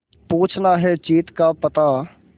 पूछना है जीत का पता